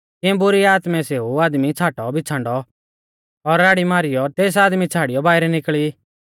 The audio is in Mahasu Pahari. तिऐं बुरी आत्मै सेऊ आदमी छ़ाटौबिछ़ांडौ और राड़ी मारीयौ तेस आदमी छ़ाड़ियौ बाइरै निकल़ी